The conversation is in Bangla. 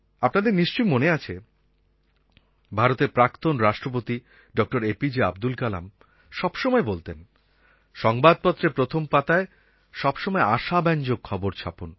আপনাদের নিশ্চয়ই মনে আছে ভারতের প্রাক্তণ রাষ্ট্রপতি ড A P J Abdul Kalam সবসময় বলতেন সংবাদপত্রের প্রথম পাতায় সব সময় আশাব্যঞ্জক খবর ছাপুন